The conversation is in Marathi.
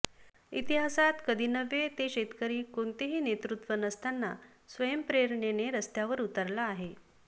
इतिहासात कधी नव्हे ते शेतकरी कोणतेही नेतृत्व नसताना स्वयंप्रेरणेने रस्त्यावर उतरला आहे